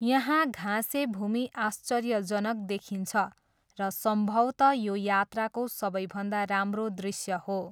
यहाँ घाँसे भूमि आश्चर्यजनक देखिन्छ र सम्भवतः यो यात्राको सबैभन्दा राम्रो दृश्य हो।